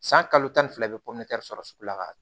San kalo tan ni fila i bɛ sɔrɔ sugu la ka